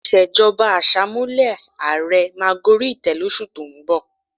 Ìṣèjọba Àṣàmúlò ààrẹ máa gorí ìtẹ́ lóṣù tó ń bọ̀